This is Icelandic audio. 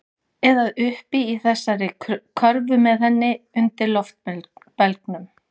Eða uppi í þessari körfu með henni. undir loftbelgnum.